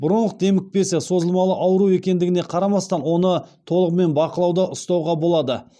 бронх демікпесі созылмалы ауру екендігіне қарамастан оны толығымен бақылауда ұстауға болады